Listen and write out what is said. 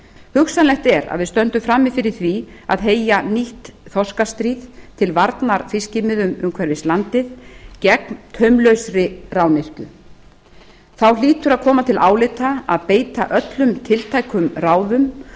hugsanlegt er að við stöndum frammi fyrir því að heyja nýtt þorskastríð til varnar fiskimiðunum umhverfis landið gegn taumlausri rányrkju þá hlýtur að koma til álita að beita öllum tiltækum ráðum